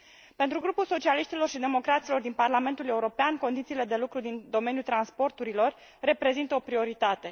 Pentru Grupul Socialiștilor și Democraților din Parlamentul European condițiile de lucru din domeniul transporturilor reprezintă o prioritate.